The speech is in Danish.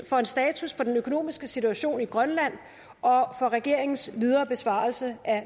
for en status på den økonomiske situation i grønland og for regeringens videre besvarelse af